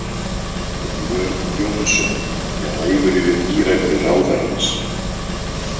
Björn Jónsson er æfur yfir bíræfni ráðherrans.